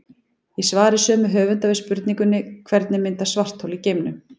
Í svari sömu höfunda við spurningunni Hvernig myndast svarthol í geimnum?